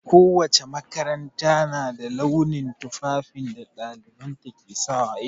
Ko wace makaranta na da launin tufafin da ɗalibanta ke sawa.